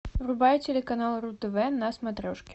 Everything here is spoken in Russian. врубай телеканал ру тв на смотрешке